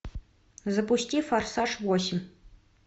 запусти форсаж восемь